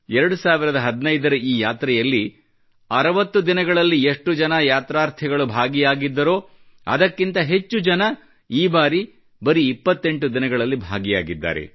2015 ರ ಈ ಯಾತ್ರೆಯಲ್ಲಿ 60 ದಿನಗಳಲ್ಲಿ ಎಷ್ಟು ಜನ ಯಾತ್ರಾರ್ಥಿಗಳು ಭಾಗಿಯಾಗಿದ್ದರೋ ಅದಕ್ಕಿಂತ ಹೆಚ್ಚು ಜನರು ಈ ಬಾರಿ ಬರೀ 28 ದಿನಗಳಲ್ಲಿ ಭಾಗಿಯಾಗಿದ್ದಾರೆ